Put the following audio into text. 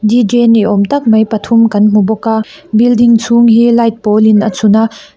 d j ni awmtak mai pathum kan hmubawk building chhung hi light pawl in a chhun a.